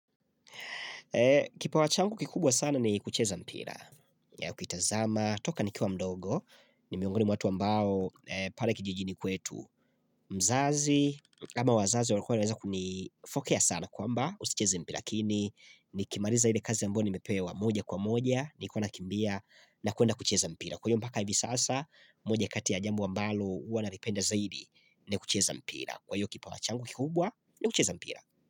Kipawa changu kikubwa sana ni kucheza mpira, ukitazama, toka nikiwa mdogo ni miongoni mwa watu ambao pale kijijini kwetu mzazi ama wazazi walikuwa wanaweza kunifokea sana kwamba usicheza mpira lakini Nikimaliza ile kazi ambayo nimepewa moja kwa moja, nilikuwa nakimbia nakwenda kucheza mpira, kwa hiyo mpaka hivi sasa moja kati ya jambo ambalo huwa nalipenda zaidi kucheza mpira, kwa hiyo kipawa changu kikubwa kucheza mpira.